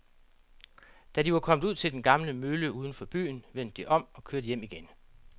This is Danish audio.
Da de var kommet ud til den gamle mølle uden for byen, vendte de om og kørte hjem igen.